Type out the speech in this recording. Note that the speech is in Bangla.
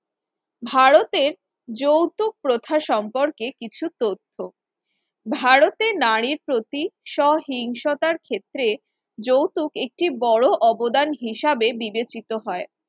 ভারতের যৌতুক প্রথা সম্পর্কে কিছু তথ্য। ভারতের নারীর প্রতি সহিংসতার ক্ষেত্রে যৌতুক একটি বড় অবদান হিসেবে বিবেচিত হয়